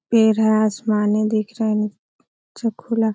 पैर है आसमानी दिख रहा है नीचे खुला --